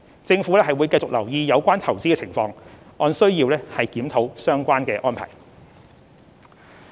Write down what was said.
政府會繼續留意有關投資的情況，按需要檢討相關安排。